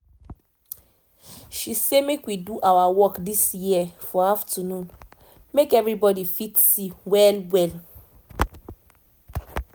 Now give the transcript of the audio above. she say make we do our work this year for afternoon make everybody fit see well well